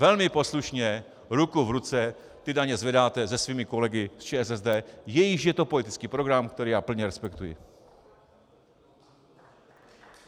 Velmi poslušně ruku v ruce ty daně zvedáte se svými kolegy z ČSSD, jejichž je to politický program, který já plně respektuji.